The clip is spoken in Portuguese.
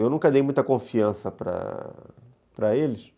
Eu nunca dei muita confiança para para eles.